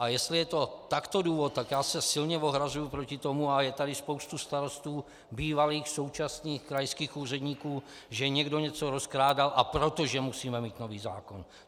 A jestli je to takto důvod, tak já se silně ohrazuji proti tomu - a je tady spousta starostů bývalých, současných krajských úředníků -, že někdo něco rozkrádal, a proto že musíme mít nový zákon.